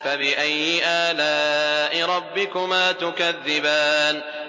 فَبِأَيِّ آلَاءِ رَبِّكُمَا تُكَذِّبَانِ